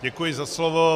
Děkuji za slovo.